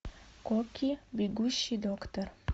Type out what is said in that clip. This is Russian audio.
кокки бегущий доктор